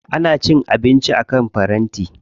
Ana cin abinci akan faranti.